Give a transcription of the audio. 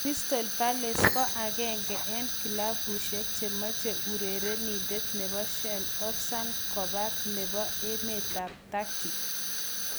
Crystal palace ko agenge eng' kilabushek che mache urerenindet nebo schalke, Ozan Kabak nebo emetap Turkey